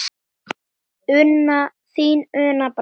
Þín, Una Brá.